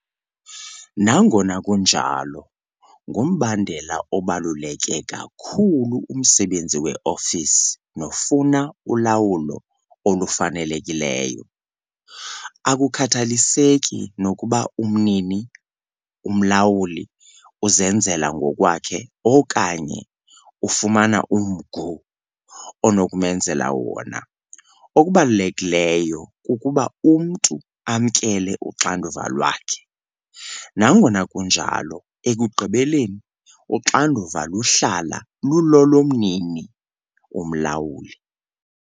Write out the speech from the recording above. Nangona kunjalo, ngumbandela obaluleke kakhulu umsebenzi weofisi nofuna ulawulo olufanelekileyo. Akukhathaliseki nokuba umnini - umlawuli uzenzela ngokwakhe okanye ufumana umgu onokumenzela wona - okubalulekileyo kukuba umntu amkele uxanduva lwakhe. Nangona kunjalo ekugqibeleni uxanduva luhlala lulolomnini - umlawuli.